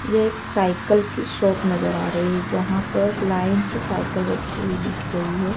ये एक साइकिल की शॉप नजर आ रही है जहां पर लाइन से साइकिल रखी हुई दिख रही हैं।